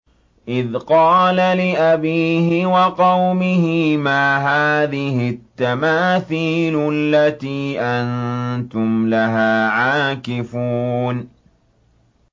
إِذْ قَالَ لِأَبِيهِ وَقَوْمِهِ مَا هَٰذِهِ التَّمَاثِيلُ الَّتِي أَنتُمْ لَهَا عَاكِفُونَ